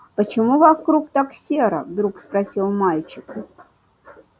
почему вокруг так серо вдруг спросил мальчик